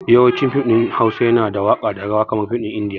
Yawancin fim ɗin Hausa yana da waka da rawa kamar fim ɗin indiya